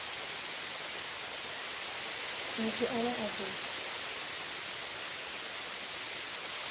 na muthu ane a do